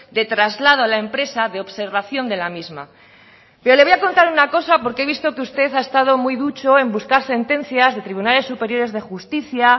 de traslado a la empresa de observación de la misma pero le voy a contar una cosa porque he visto que usted ha estado muy ducho en buscar sentencias de tribunales superiores de justicia